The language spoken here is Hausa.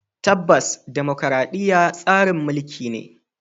Tabbas dimokuradiyya tsarin mulki ne.